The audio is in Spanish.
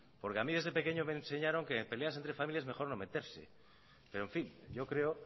porque a mí desde pequeño me enseñaron que en peleas entre familias mejor no meterse pero en fin yo creo